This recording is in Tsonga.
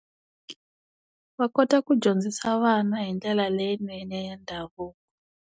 Va kota ku dyondzisa vana hi ndlela leyinene ya ndhavuko.